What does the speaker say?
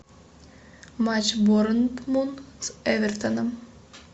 матч борнмут с эвертоном